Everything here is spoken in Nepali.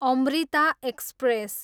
अमृता एक्सप्रेस